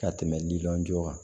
Ka tɛmɛ liliw kan